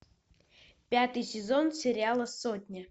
пятый сезон сериала сотня